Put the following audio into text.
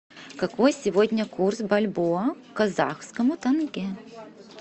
какой сегодня курс бальбоа к казахскому тенге